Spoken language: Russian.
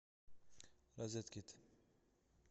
розеткед